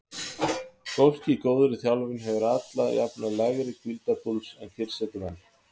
Fólk í góðri þjálfun hefur alla jafna lægri hvíldarpúls en kyrrsetumenn.